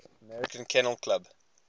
american kennel club